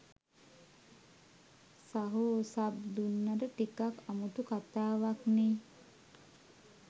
සහෝ සබ් දුන්නට ටිකක් අමුතු කතාවක්නේ.